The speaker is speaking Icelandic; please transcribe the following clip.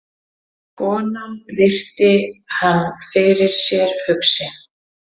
Konan virti hann fyrir sér hugsi.